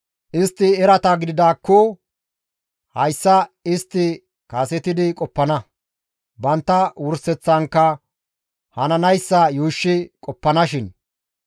Istti erata gididaakko hayssa istti kasetidi qoppana; bantta wurseththankka hananayssa yuushshi qoppanashin!